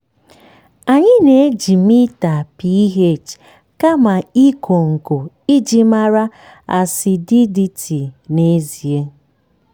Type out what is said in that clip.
anyị na-eji mita ph kama ịkọ nkọ iji mara acidity n'ezie.